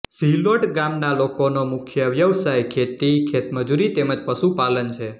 ઝીલોડ ગામના લોકોનો મુખ્ય વ્યવસાય ખેતી ખેતમજૂરી તેમ જ પશુપાલન છે